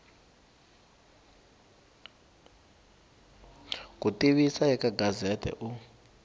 ku tivisa eka gazette u